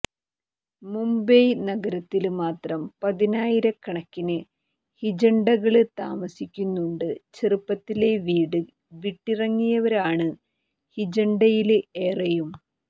മുംബയ് നഗരത്തില് മാത്രം പതിനായിരക്കണക്കിന് ഹിജഡകള് താമസിക്കുന്നുണ്ട് ചെറുപ്പത്തിലെ വീട് വിട്ടിറങ്ങിയവരാണ് ഹിജഡകളില് ഏറെയും